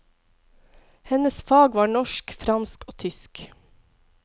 Hennes fag var norsk, fransk og tysk.